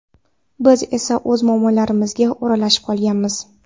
Biz esa o‘z muammolarimizga o‘ralashib qolganmiz.